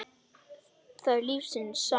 það er lífsins saga.